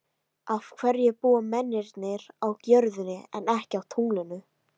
Af hverju búa mennirnir á jörðinni en ekki á tunglinu?